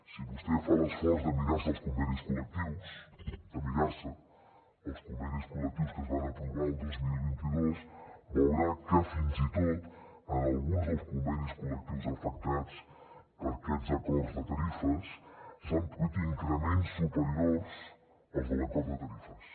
si vostè fa l’esforç de mirar se els convenis col·lectius de mirar se els convenis col·lectius que es van aprovar el dos mil vint dos veurà que fins i tot en alguns dels convenis col·lectius afectats per aquests acords de tarifes s’han produït increments superiors als de l’acord de tarifes